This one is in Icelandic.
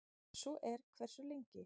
Ef svo er, hversu lengi?